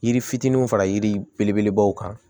Yiri fitininw fara yiri belebelebaw kan